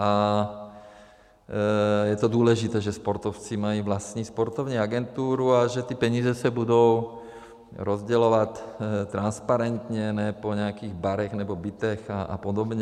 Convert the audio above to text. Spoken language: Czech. A je to důležité, že sportovci mají vlastní sportovní agenturu a že ty peníze se budou rozdělovat transparentně, ne po nějakých barech nebo bytech a podobně.